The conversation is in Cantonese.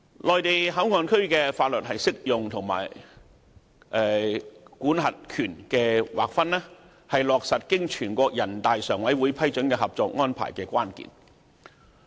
內地口岸區的法律適用和管轄權的劃分，是落實經全國人大常委會批准的《合作安排》的關鍵。